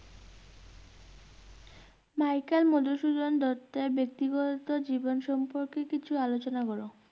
Michael Madhusudan দত্তের ব্যক্তিগত জীবন সম্পর্কে কিছু আলোচনা কর।